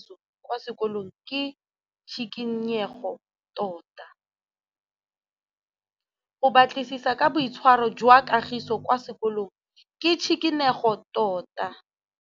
Go batlisisa ka boitshwaro jwa Kagiso kwa sekolong ke tshikinyêgô tota.